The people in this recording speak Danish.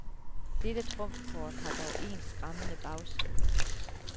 Dette trumfkort har dog en skræmmende bagside.